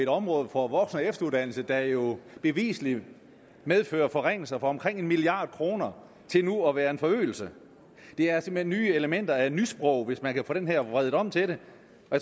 området for voksen og efteruddannelse der jo bevisligt medfører forringelser for omkring en milliard kr til nu at være en forøgelse det er simpelt hen nye elementer af nysprog hvis man kan få den her vredet om til det